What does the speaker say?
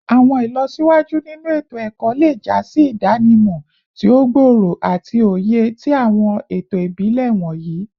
Awọn ilọsiwaju ninu eto-ẹkọ le ja si idanimọ ti o gbooro ati oye ti awọn eto ibile wọnyi